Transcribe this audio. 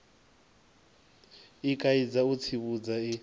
i kaidza u tsivhudza i